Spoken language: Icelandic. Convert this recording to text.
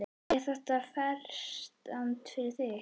Er þetta freistandi fyrir þig?